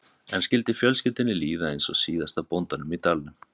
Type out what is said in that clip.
En skyldi fjölskyldunni líða eins og síðasta bóndanum í dalnum?